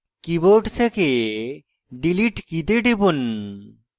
keyboard থেকে delete key তে টিপুন